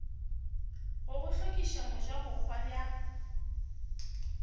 go go hlokiša mojabohwa bja